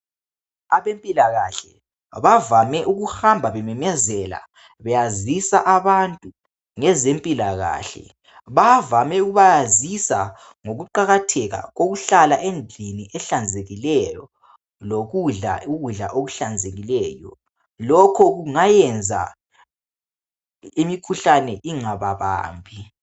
Abempilakahle bavame ukuhamba bememezela beyazisa abantu ngezempilakahle .Bavame ukubayazisa ngokuqakatheka kokuhlala endlini ehlanzekileyo lokudla ukudla okuhlanzekileyo .Lokho kungayenza imikhuhlane ingababambi .